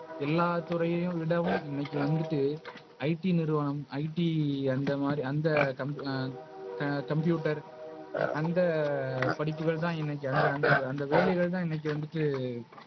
எல்லா துறையவிடவும் இன்னைக்கு வந்துட்டு நிறுவனம். IT அந்தமாரி அந்த காம்ப் ஆஹ் Computer அந்த படிப்புகள்தான் இன்னைக்கு அந்த அந்த அந்த வேலைகள் தான் இன்னைக்கு வந்துட்டு.